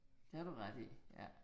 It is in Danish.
Det har du ret i, ja